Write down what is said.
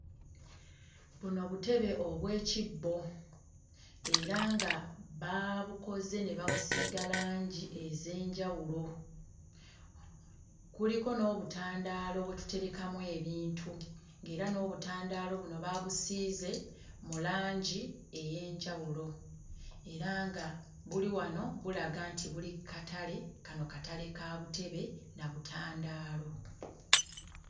Buno butebe obw'ekibbo era nga baabukoze ne babusiiga langi ez'enjawulo. Kuliko n'obutandaalo bwe tuterekamu ebintu, ng'era n'obutandaalo buno baabusiize mu langi ey'enjawulo era nga buli wano bulaga nti buli ku katale. Kano katale ka butebe na butandaalo.